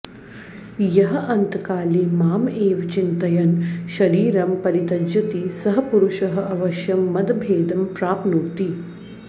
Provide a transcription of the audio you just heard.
यः अन्तकाले माम् एव चिन्तयन् शरीरं परित्यजति सः पुरुषः अवश्यं मदभेदं प्राप्नोति